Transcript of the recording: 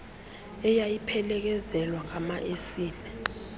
eyayiphelezelwa ngama esile